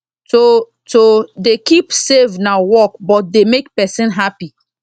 to to dey keep save na work but dey make person happy